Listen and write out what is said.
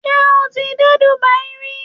Ṣé o ti dé Dubai rí?